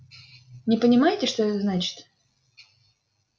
не понимаете что это значит